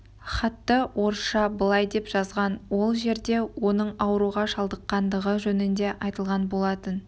хатты орысша былай деп жазған ол жерде оның ауруға шалдыққандығы жөнінде айтылған болатын